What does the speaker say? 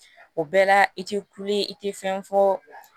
O bɛɛ la i te kule i te fɛn fɔ